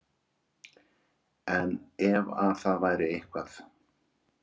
En ef að það væri eitthvað